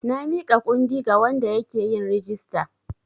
Na miƙa kundi ga wanda yake yin rijista.